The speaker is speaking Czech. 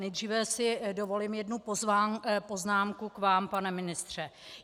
Nejdříve si dovolím jednu poznámku k vám, pane ministře.